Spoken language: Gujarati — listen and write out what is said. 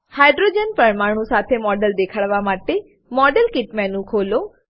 હાઇડ્રોજન પરમાણુ સાથે મોડેલ દેખાડવા માટે મોડેલકીટ મેનુ ખોલો